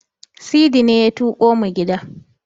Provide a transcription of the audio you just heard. Sidi ne ya tuƙo mu gida.